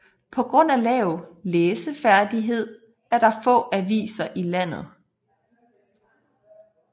På grund af lav læseferdighed er der få aviser i landet